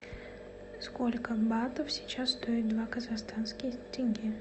сколько батов сейчас стоит два казахстанских тенге